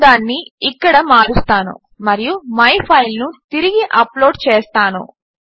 నేను దానిని ఇక్కడ మారుస్తాను మరియు మై ఫైల్ ను తిరిగి అప్లోడ్ చేస్తాను